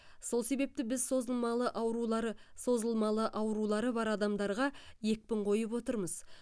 сол себепті біз созылмалы аурулары созылмалы аурулары бар адамдарға екпін қойып отырмыз